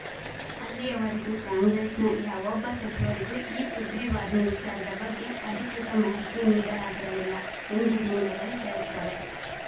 ಅಲ್ಲಿಯವರೆಗೂ ಕಾಂಗ್ರೆಸ್‌ನ ಯಾವೊಬ್ಬ ಸಚಿವರಿಗೂ ಈ ಸುಗ್ರೀವಾಜ್ಞೆ ವಿಚಾರದ ಬಗ್ಗೆ ಅಧಿಕೃತ ಮಾಹಿತಿ ನೀಡಲಾಗಿರಲಿಲ್ಲ ಎಂದು ಮೂಲಗಳು ಹೇಳುತ್ತವೆ